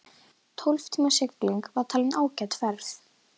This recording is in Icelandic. Tólf tíma sigling var talin ágæt ferð.